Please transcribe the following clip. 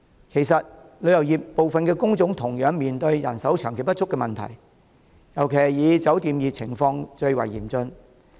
其實，旅遊業部分工種同樣面對人手長期不足的問題，尤其以酒店業的情況最為嚴峻。